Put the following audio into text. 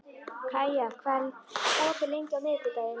Kaía, hvað er opið lengi á miðvikudaginn?